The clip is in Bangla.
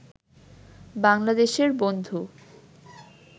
বাংলাদেশের বন্ধু